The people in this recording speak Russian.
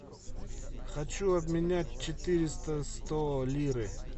хочу обменять четыреста сто лиры